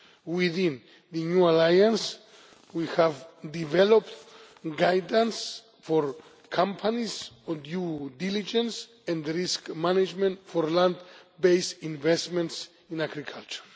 Within the New Alliance we have developed guidance for companies on due diligence and risk management for land based investments in agriculture.